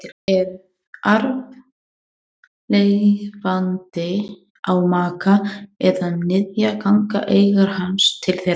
Ef arfleifandi á maka eða niðja ganga eignir hans til þeirra.